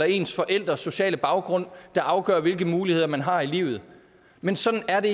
ens forældres sociale baggrund der afgør hvilke muligheder man har i livet men sådan er det